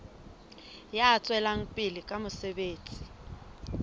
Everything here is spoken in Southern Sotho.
ya tswelang pele ka mosebetsi